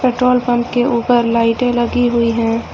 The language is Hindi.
पेट्रोल पंप के ऊपर लाइटे लगी हुई है।